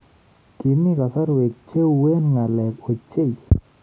Kimii kasarwek che uen ngalek ochei